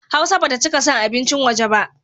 Hausa ba ta cika son abincin waje ba.